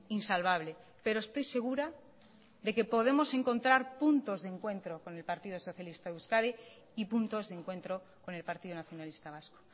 insalvable pero estoy segura de que podemos encontrar puntos de encuentro con el partido socialista de euskadi y puntos de encuentro con el partido nacionalista vasco